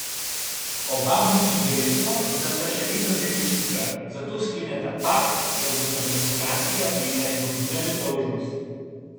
Oba muči dejstvo, da sta še vedno devičnika, zato skleneta pakt, da bosta do maturantskega plesa izgubila nedolžnost.